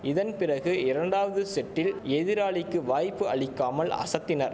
இதன் பிறகு இரண்டாவது செட்டில் எதிராளிக்கு வாய்ப்பு அளிக்காமல் அசத்தினர்